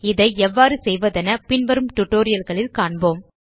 இதை எவ்வாறு செய்வதென பின்வரும் tutorialகளில் காண்போம்